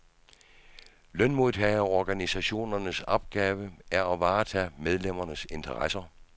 Lønmodtagerorganisationernes opgave er at varetage medlemmernes interesser.